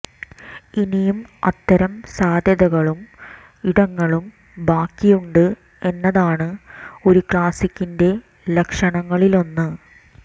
ഇനിയും അത്തരം സാധ്യതകളും ഇടങ്ങളും ബാക്കിയുണ്ട് എന്നതാണ് ഒരു ക്ലാസിക്കിന്റെ ലക്ഷണങ്ങളിലൊന്ന്